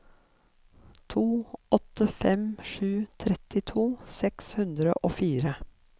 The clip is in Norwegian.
to åtte fem sju trettito seks hundre og fire